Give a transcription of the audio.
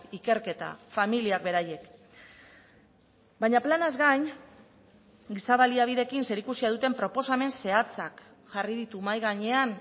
ikerketa familiak beraiek baina planaz gain giza baliabideekin zerikusia duten proposamen zehatzak jarri ditu mahai gainean